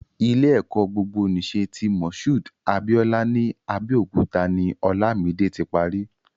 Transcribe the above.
Ilé-ẹ̀kọ́ gbogbonìṣe ti Mushood Abiola ní Abẹ́òkúta ni Olamide ti pari.